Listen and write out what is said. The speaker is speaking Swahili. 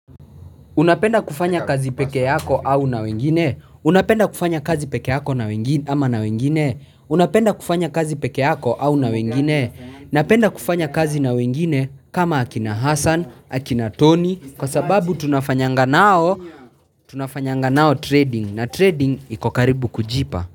Unapenda kufanya kazi peke yako au na wengine? Unapenda kufanya kazi peke yako ama na wengine? Unapenda kufanya kazi peke yako au na wengine? Napenda kufanya kazi na wengine kama akina Hassan, akina Tony, kwa sababu tunafanyanganao, tunafanya nganao trading na trading iko karibu kujipa.